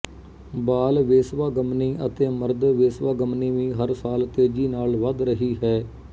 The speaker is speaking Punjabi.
ਬਾਲ ਵੇਸਵਾਗਮਨੀ ਅਤੇ ਮਰਦ ਵੇਸਵਾਗਮਨੀ ਵੀ ਹਰ ਸਾਲ ਤੇਜ਼ੀ ਨਾਲ਼ ਵਧ ਰਹੀ ਹੈ